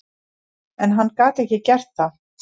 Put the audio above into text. En hann gat ekki gert það.